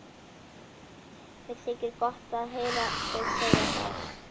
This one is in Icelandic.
Mér þykir gott að heyra þig segja það.